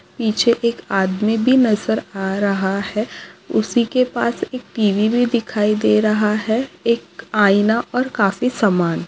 पीछे एक आदमी भी नज़र आ रहा है उसी के पास एक टीवी भी दिखाई दे रहा है एक आईना और काफी सामान--